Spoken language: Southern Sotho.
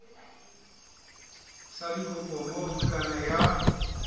sa dikopo moo bukana ya